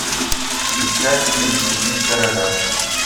искать фильм убить короля